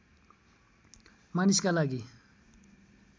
मानिसका लागि